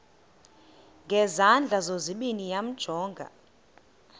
ngezandla zozibini yamjonga